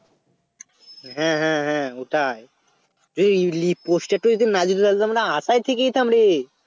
হ্যাঁ হ্যাঁ হ্যাঁ ওটাই এই Lip poster টা যদি না যদি জানতাম আশায় থেকে যেতাম রে